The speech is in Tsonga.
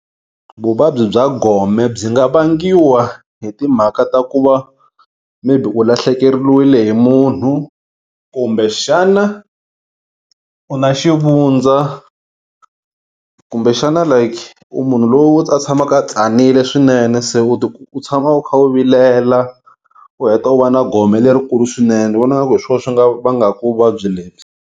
Vuvabyi bya gome byi nga vangiwa hi timhaka ta ku va maybe u lahlekeriwile hi munhu kumbe xana u na xivundza kumbe xana like u munhu lowu a tshamaka a tsanile swinene se u ti u tshama u kha u vilela u heta u va na gome lerikulu swinene ni vona nga ku hi swona swi nga vangaku vuvabyi lebyi.